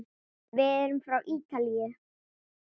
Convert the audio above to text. Við erum frá Ítalíu.